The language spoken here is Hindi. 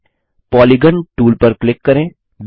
आगे पॉलीगॉन टूल पर क्लिक करें